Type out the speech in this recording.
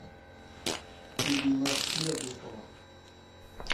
ирина хлебникова